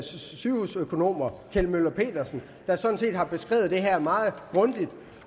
sygehusøkonomer kjeld møller pedersen der sådan set har beskrevet det her meget grundigt